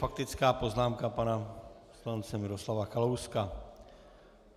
Faktická poznámka pana poslance Miroslava Kalouska.